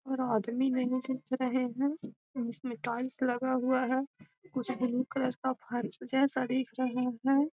और आदमी रहे है जिसमें पाइप लगा हुआ है कुछ ब्लू कलर का फर्श जैसा दिख रहा है।